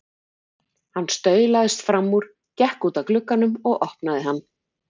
Hann staulaðist fram úr, gekk út að glugganum og opnaði hann.